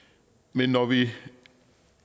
men når vi